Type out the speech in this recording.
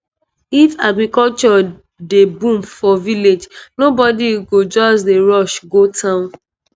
if agriculture dey boom for village nobody go just dey rush go town.